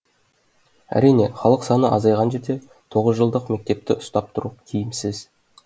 әрине халық саны азайған жерде тоғыз жылдық мектепті ұстап тұру тиімсіз